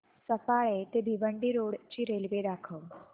सफाळे ते भिवंडी रोड ची रेल्वे दाखव